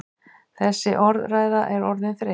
Þessi orðræða er orðin þreytt!